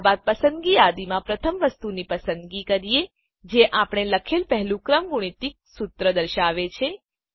ત્યારબાદ પસંદગી યાદીમાં પ્રથમ વસ્તુની પસંદગી કરીએ જે આપણે લખેલ પહેલું ક્રમગુણિત સુત્ર દર્શાવે છે